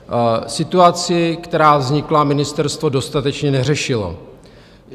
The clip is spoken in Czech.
Situaci, která vznikla, ministerstvo dostatečně neřešilo.